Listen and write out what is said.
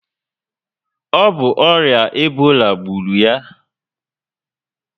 O bu oria Ebola gburu ya?